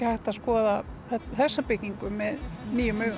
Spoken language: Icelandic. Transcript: hægt að skoða þessa byggingu með nýjum augum